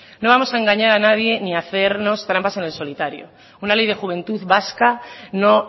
no vamos a engañar a nadie ni hacernos trampas en el solitario una ley de juventud vasca no